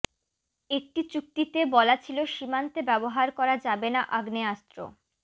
একটি চুক্তিতে বলা ছিল সীমান্তে ব্যবহার করা যাবে না আগ্নেয়াস্ত্র